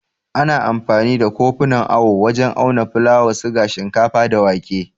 Ana amfani da kofunan awo wajen auna fulawa, siga, shinkafa, da wake.